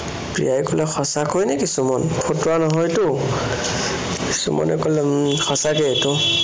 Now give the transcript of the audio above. প্ৰিয়াই কলে, সঁচাকৈ নেকি সুমন? ফটোৱা নহয়তো? সুমনে কলে, উম সঁচা কৈয়েতো